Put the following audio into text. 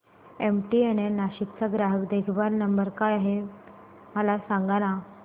MTNL Nashik चा ग्राहक देखभाल नंबर काय आहे मला सांगाना